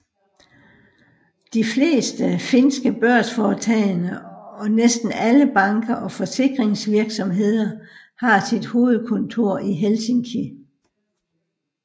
De fleste finske børsforetagende og næsten alle banker og forsikringsvirksomheder har sit hovedkontor i Helsinki